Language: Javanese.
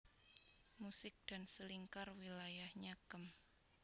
Musik dan Selingkar wilayahnya Kem